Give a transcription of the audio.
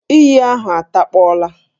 Íyí ahụ atakpọla